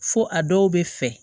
Fo a dɔw bɛ fɛ